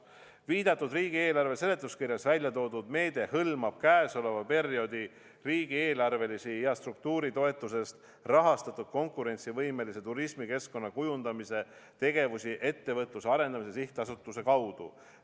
" Viidatud riigieelarve seletuskirjas väljatoodud meede hõlmab käesoleva perioodi riigieelarvelisi ja struktuuritoetusest rahastatud konkurentsivõimelise turismikeskkonna kujundamise tegevusi Ettevõtluse Arendamise Sihtasutuse kaudu.